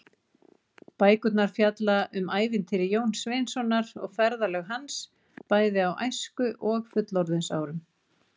Bækurnar fjalla um ævintýri Jóns Sveinssonar og ferðalög hans, bæði á æsku- og fullorðinsárum.